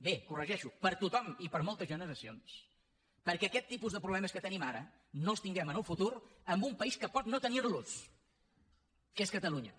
bé ho corregeixo per a tothom i per a moltes generacions perquè aquest tipus de problemes que tenim ara no els tinguem en el futur en un país que pot no tenirlos que és catalunya